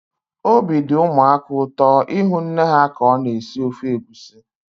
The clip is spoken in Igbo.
Obi dị ụmụaka ụtọ ịhụ nne ha ka ọ na-esi ofe egusi.